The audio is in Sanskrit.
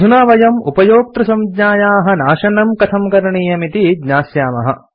अधुना वयम् उपयोक्तृसंज्ञायाः नाशनम् कथं करणीयम् इति ज्ञास्यामः